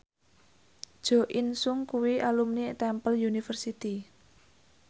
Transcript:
Jo In Sung kuwi alumni Temple University